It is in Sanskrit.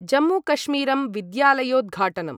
जम्मूकश्मीरम् विद्यालयोद्घाटनम्